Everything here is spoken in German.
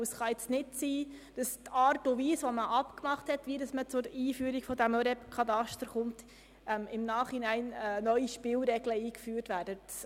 Es kann nicht sein, dass statt der abgemachten Art und Weise, wie man zur Einführung des ÖREB-Katasters kommt, im Nachhinein neue Spielregeln eingeführt werden.